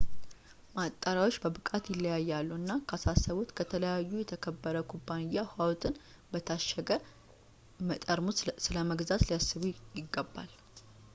ማጣሪያዎች በብቃት ይለያያሉ እና ካሳሰብዎት ከዚያ ከተከበረ ኩባንያ ውሃዎትን በታሸገ ጠርሙስ ስለመግዛት ሊያስቡ ይገባል